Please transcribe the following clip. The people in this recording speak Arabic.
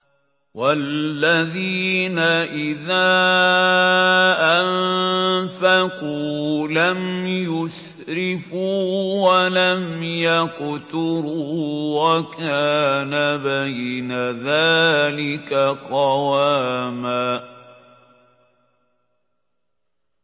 وَالَّذِينَ إِذَا أَنفَقُوا لَمْ يُسْرِفُوا وَلَمْ يَقْتُرُوا وَكَانَ بَيْنَ ذَٰلِكَ قَوَامًا